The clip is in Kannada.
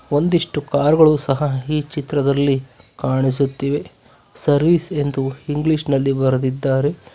ಒಂದಿಷ್ಟು ಕಾರ್ ಗಳು ಸಹ ಈ ಚಿತ್ರದಲ್ಲಿ ಕಾಣಿಸುತ್ತಿವೆ ಸರ್ವಿಸ್ ಎಂದು ಇಂಗ್ಲಿಷ್ ನಲ್ಲಿ ಬರೆದಿದ್ದಾರೆ.